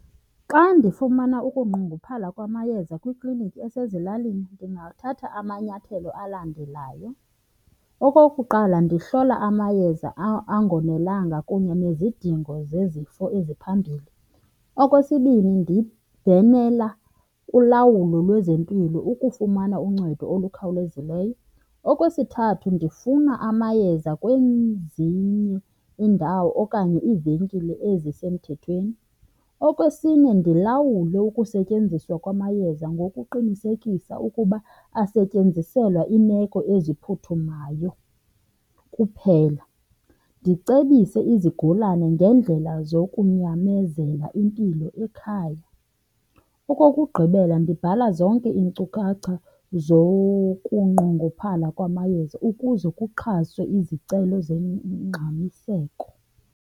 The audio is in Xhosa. Xa ndifumana ukunqongophala kwamayeza kwikliniki esezilalini ndingathatha amanyathelo alandelayo. Okokuqala, ndihlola amayeza angonelanga kunye nezidingo zezifo eziphambili. Okwesibini, ndibhenela kulawulo lwezempilo ukufumana uncedo olukhawulezileyo. Okwesithathu, ndifuna amayeza kwezinye iindawo okanye iivenkile ezisemthethweni. Okwesine, ndilawule ukusetyenziswa kwamayeza ngokuqinisekisa ukuba asetyenziselwa iimeko eziphuthumayo kuphela. Ndicebise izigulane ngeendlela zokunyamezela impilo ekhaya. Okokugqibela, ndibhala zonke iinkcukacha zokunqongophala kwamayeza ukuze kuxhaswe izicelo zongxamiseko.